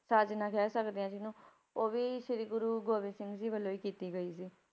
ਸਾਜਨਾ ਕਹਿ ਸਕਦੇ ਹਾਂ ਜਿਹਨੂੰ ਉਹ ਵੀ ਸ੍ਰੀ ਗੁਰੂ ਗੋਬਿੰਦ ਸਿੰਘ ਜੀ ਵੱਲੋਂ ਹੀ ਕੀਤੀ ਗਈ ਸੀ।